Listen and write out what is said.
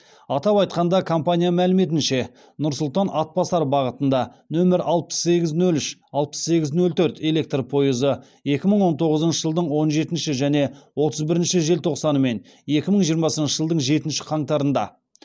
атап айтқанда компания мәліметінше нұр сұлтан атбасар бағытында нөмір алпыс сегіз нөл үш алпыс сегіз нөл төрт электр пойызы екі мың он тоғызыншы жылдың он жетінші және отыз бірінші желтоқсаны мен екі мың жиырмасыншы жылдың жетінші қаңтарында